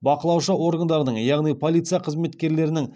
бақылаушы органдардың яғни полиция қызметкерлерінің